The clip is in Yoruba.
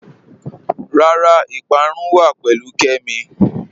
Rárá, ìpárún wà pẹ̀lú Kẹ́mí